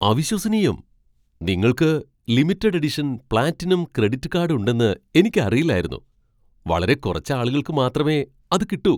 അവിശ്വസനീയം! നിങ്ങൾക്ക് limited edition platinum credit card ഉണ്ടെന്ന് എനിക്കറിയില്ലായിരുന്നു. വളരെ കുറച്ച് ആളുകൾക്ക് മാത്രമേ അത് കിട്ടൂ.